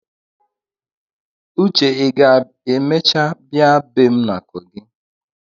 Uche ị ga-emecha bịa ebe m na kogi?